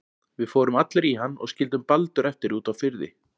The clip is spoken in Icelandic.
Við fórum allir í hann og skildum Baldur eftir úti á firði.